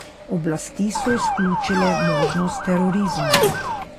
Oblasti so izključile možnost terorizma.